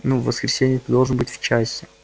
максимум в воскресенье ты должен быть в части